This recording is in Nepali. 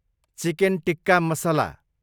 चिकेन टिक्का मसला